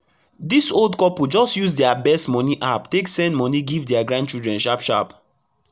dis old couple just use dia best moni app take send moni give dia grandchildren sharp sharp